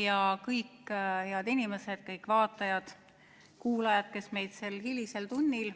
Ja kõik head inimesed, kõik vaatajad-kuulajad, kes meid sel hilisel tunnil